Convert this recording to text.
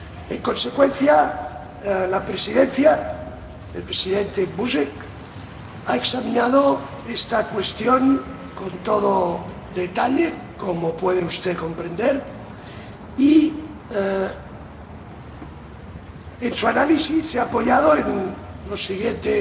En consecuencia, la Presidencia —el Presidente Buzek— ha examinado esta cuestión con todo detalle, como puede usted comprender, y en su análisis se ha apoyado en los siguientes